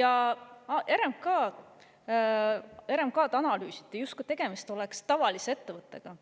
Ja RMK-d analüüsiti, justkui tegemist oleks tavalise ettevõttega,